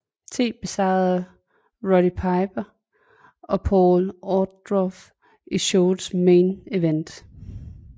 T besejre Roddy Piper og Paul Orndorff i showets main event